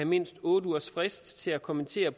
mindst otte ugers frist til at kommentere